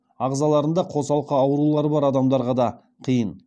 ағзаларында қосалқы аурулары бар адамдарға да қиын